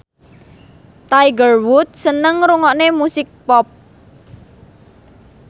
Tiger Wood seneng ngrungokne musik pop